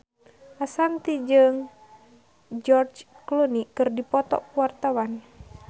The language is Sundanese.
Ashanti jeung George Clooney keur dipoto ku wartawan